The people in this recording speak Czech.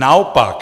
Naopak.